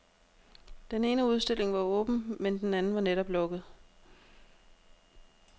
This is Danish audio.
Den ene udstilling var åben, men den anden var netop lukket.